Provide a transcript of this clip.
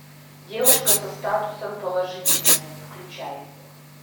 девушка со статусом положительная включай